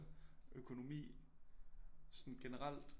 Økonomi sådan generelt